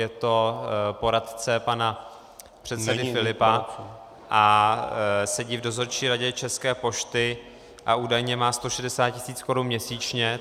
Je to poradce pana předsedy Filipa a sedí v dozorčí radě České pošty a údajně má 160 tis. korun měsíčně.